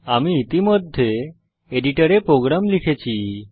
আমি ইতিমধ্যে এডিটরে প্রোগ্রাম লিখেছি